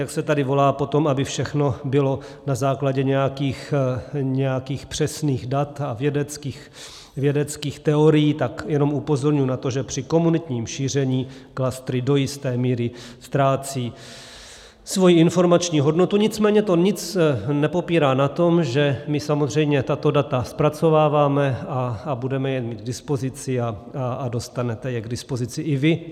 Jak se tady volá potom, aby všechno bylo na základě nějakých přesných dat a vědeckých teorií, tak jenom upozorňuji na to, že při komunitním šíření klastry do jisté míry ztrácejí svoji informační hodnotu, nicméně to nic nepopírá na tom, že my samozřejmě tato data zpracováváme a budeme je mít k dispozici a dostanete je k dispozici i vy.